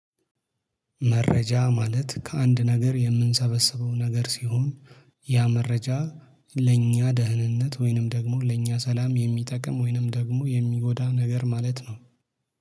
መረጃ ማለት ከአንድ ነገር የምንሰበስበው ነገር ሲሆን ያ መረጃ ለእኛ ደህንነት ወይንም ደግሞ ለእኛ ሰላም የሚጠቅም ወይንም ደግሞ የሚጎዳ ነገር ማለት ነው